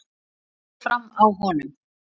Hvað fór fram á honum?